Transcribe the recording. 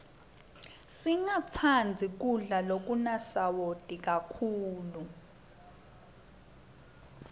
singatsandzi kudla lokunasawati kakhulu